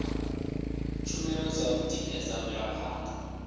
tshumelo dza u tikedza mvelaphanda